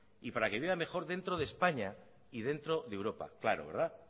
y para que viva mejor dentro de españa y dentro de europa claro verdad